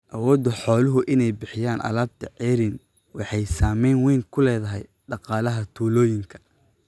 Awoodda xooluhu inay bixiyaan alaabta ceeriin waxay saamayn weyn ku leedahay dhaqaalaha tuulooyinka.